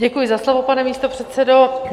Děkuji za slovo, pane místopředsedo.